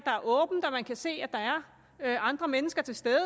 man kan se at der er andre mennesker til stede og